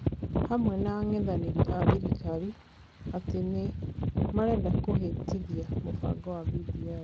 Hamwe na ang'ethanĩri a thirikari, atĩ nĩ marenda kũhĩtithia mũbango wa BBI.